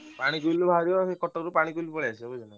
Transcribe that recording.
ପାଣି କଟକରୁ ପାଣି ପଳେଇ ଆସିବ ବୁଝିଲ ନା।